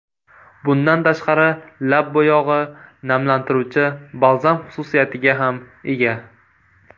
Bundan tashqari, lab bo‘yog‘i namlantiruvchi balzam xususiyatiga ham ega.